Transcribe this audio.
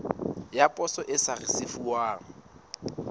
ya poso e sa risefuwang